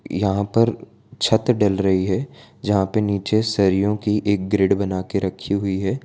यहां पर छत डल रही है यहां पे नीचे सरियों की एक ग्रिड बना के रखी हुई है।